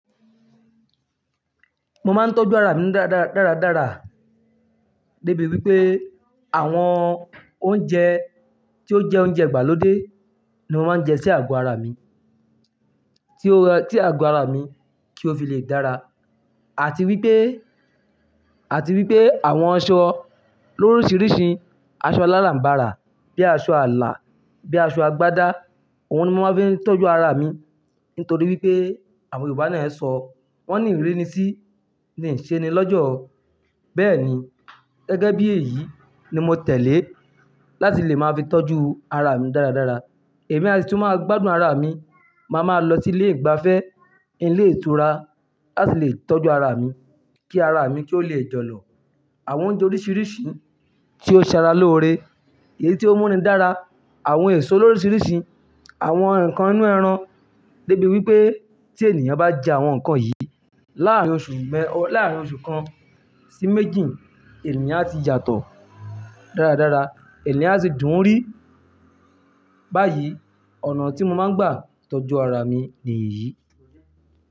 Mo máa ń tọ́jú ara mi dára dára dára, débi wípé àwọn oúnjẹ tí ó jẹ́ oúnjẹ ìgbàlódé ni mo máa ń jẹ sí àgọ́ ara mi, tí ó-- tí àgọ́ ara mi kí ó fi lè dára. Àti wípé, àti wípé àwọn aṣọ lórísìírísìí, aṣọ aláràm̀barà bí i aṣọ àlà, bí i aṣọ àgbádá, òun ni mo máa ń fi tọ́jú ara mi. Nítorí wípé àwọn Yorùbá náà ń sọ "wọ́n ni ìrínisí ni i ṣe ni lọ́jọ̀". Bẹ́ẹ̀ ni gẹ́gẹ́ bí èyí ni mo tẹ̀lé láti lè máa fi tọ́jú ara mi dára dára. Èmi asi tun ma gbádùn ara mi, màá ma lọ sí ilé ìgbafẹ́, ilé ìtura láti lè tọ́jú ara mi. Kí ara mi kí ó lè jọ̀lọ̀. Àwọn oúnjẹ oríṣiríṣi tí ó ṣe ara lóore, èyí tí ó múni dára, àwọn èso oríṣiríṣi, àwọn ǹkan inú ẹran. Débi wípé tí ènìyàn bá jẹ àwọn nǹkan yìí láàárín oṣù mẹ-- o-- láàárín oṣù kan sí méjì, ènìyàn á ti yàtọ̀ dára dára, ènìyàn á sì dùn ún rí. Báyìí ọ̀nà tí mo máa ń gbà tọ́jú ara mi ni èyí.